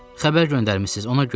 Xəbər göndərmisiz, ona görə gəldim.